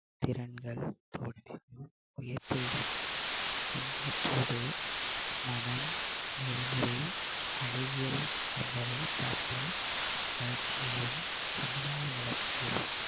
திறன்கள் என்பவற்றோடு மனம் நெறிமுறை அழகியல் என்பவை சார்ந்த வளர்ச்சியையும் சமுதாய வளர்ச்சியையும்